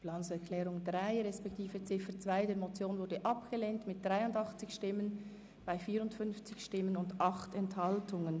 Sie haben die Planungserklärung 3 respektive die Ziffer 2 der Motion abgelehnt mit 54 Ja- zu 83 NeinStimmen bei 8 Enthaltungen.